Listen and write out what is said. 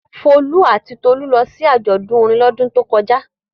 Folú àti Tolú lọ sí àjọ̀dún orin lọ́dún tó kọjá.